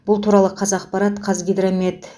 бұл туралы қазақпарат қазгидромет